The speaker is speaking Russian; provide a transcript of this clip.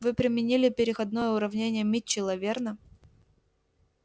вы применили переходное уравнение митчелла верно